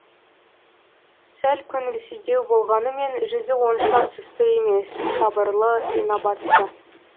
сәл көңілсіздеу болғанымен жүзі онша сұсты емес сабырлы инабатты